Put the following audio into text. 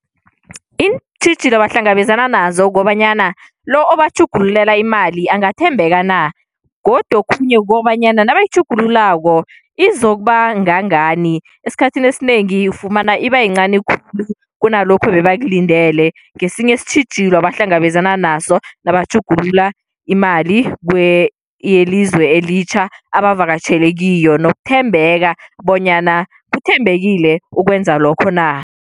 Iintjhijilo abahlangabezana nazo kobanyana lo batjhugululela imali angathembeka na, godu okhunye kukobanyana nabayitjhugululako izokuba kangangani. Esikhathini esinengi ufumana iba yincani khulu kunalokho bebakulindele, ngesinye isitjhijilo ebahlangabezana naso nabatjhugulula imali yelizwe elitjha abavakatjhele kiyo nokuthembeka bonyana ukuthembekile ukwenza lokho na.